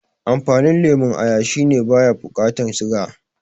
Amfanin lemon aya shine baya bukatan siga